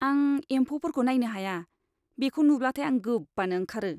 आं एमफौफोरखौ नायनो हाया, बेखौ नुब्लाथाय आं गोबानो ओंखारो।